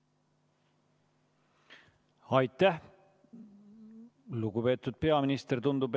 Aitäh, lugupeetud peaminister!